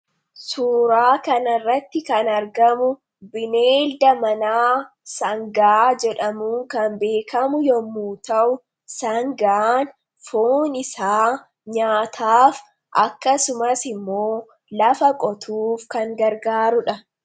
suuraa kanirratti kan argamu bineelda manaa sangaa jedhamuu kan beekamu yommu ta'u sangaan foon isaa nyaataaf akkasumas immoo lafa qotuuf kan gargaarudha